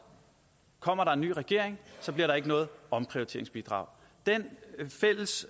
kommer der en ny regering bliver der ikke noget omprioriteringsbidrag den fælles